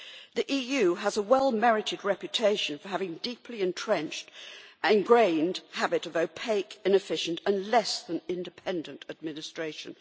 The EU has a well-merited reputation for having a deeply entrenched and ingrained habit of opaque, inefficient and less than independent administration.